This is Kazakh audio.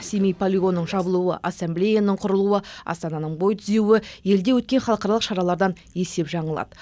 семей полигонының жабылуы ассамблеяның құрылуы астананың бой түзеуі елде өткен халықаралық шаралардан есеп жаңылады